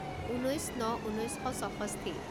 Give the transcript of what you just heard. ঊনৈছ ন ঊনৈছ শ ছষষ্ঠি